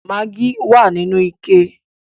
Maggi wà nínú ike